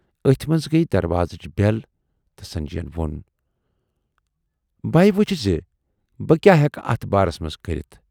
ٲتھۍ منز گٔیہِ دروازٕچ بٮ۪ل تہٕ سنجے یَن وون"بہٕ ہے وُچھٕ زِ بہٕ کیاہ ہیکہِ اتھ بارس منز کٔرِتھ